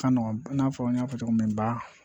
Ka nɔgɔn i n'a fɔ n y'a fɔ cogo min ba